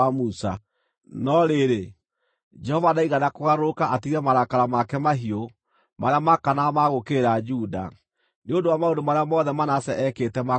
No rĩrĩ, Jehova ndaigana kũgarũrũka atige marakara make mahiũ, marĩa maakanaga ma gũũkĩrĩra Juda, nĩ ũndũ wa maũndũ marĩa mothe Manase eekĩte ma kũmũrakaria.